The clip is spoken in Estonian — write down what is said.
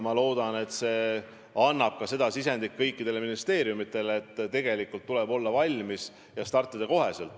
Ma loodan, et see annab kõikidele ministeeriumidele signaali, et tegelikult tuleb olla valmis ja startida kohe.